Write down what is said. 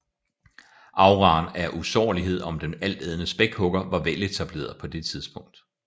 Auraen af usårlighed om den altædende spækhugger var veletableret på det tidspunkt